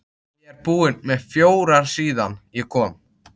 Ég er búinn með fjóra síðan ég kom.